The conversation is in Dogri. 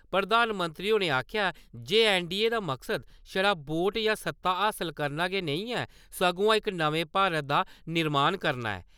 प्रधानमंत्री होरें आखेआ जे ऐन्नडीए दा मकसद छड़ा वोट जां सत्ता हासल करना गै नेईं ऐ, सगुआं इक नमें भारत दा निर्माण करना ऐ।